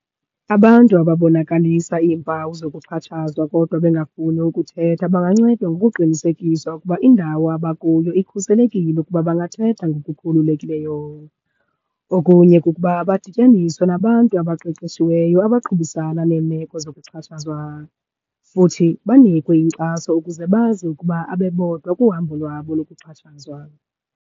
Abantu abonakalisa iimpawu zokuxhatshazwa kodwa bengafuni ukuthetha bangancedwa ngokuqinisekisa ukuba indawo abakuyo ikhuselekile ukuba bangathetha ngokukhululekileyo. Okunye kukuba badityaniswe nabantu abaqeqeshiweyo, abaqhubisana neemeko zokuxhatshazwa. Futhi banikwe inkxaso ukuze bazi ukuba abebodwa kuhambo lwabo lokuxhatshazwa.